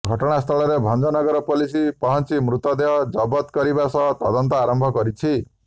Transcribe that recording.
ଘଟଣାସ୍ଥଳରେ ଭଞ୍ଜନଗର ପୋଲିସ ପହଞ୍ଚି ମୃତଦେହ ଜବତ କରିବା ସହ ତଦନ୍ତ ଆରମ୍ଭ କରିଛି